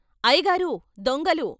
అయ్యగారూ ! దొంగలు....